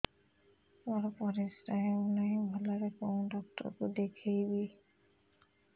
ମୋର ପରିଶ୍ରା ହଉନାହିଁ ଭଲରେ କୋଉ ଡକ୍ଟର କୁ ଦେଖେଇବି